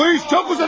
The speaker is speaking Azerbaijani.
Bu iş çox uzadı!